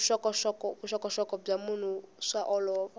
vuxokoxoko bya mahungu swa olova